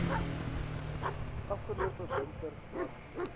afgelope winter warm